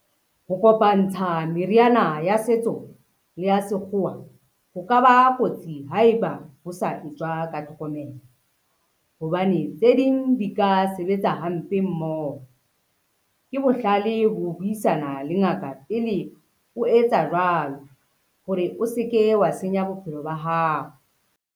Ho kopantsha meriana ya setso le ya sekgowa ho ka ba kotsi haeba ho sa etswa ka tlhokomelo, hobane tse ding di ka a sebetsa hampe mmoho. Ke bohlale ho buisana le ngaka pele o etsa jwalo hore o se ke wa senya bophelo ba hao.